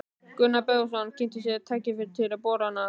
Gunnar Böðvarsson kynnti sér tæki til borana í